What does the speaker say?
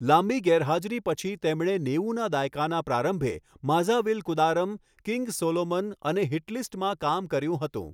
લાંબી ગેરહાજરી પછી તેમણે નેવુંના દાયકાના પ્રારંભે 'માઝાવિલકૂદારમ', 'કિંગ સોલોમન' અને 'હિટલિસ્ટ'માં કામ કર્યું હતું.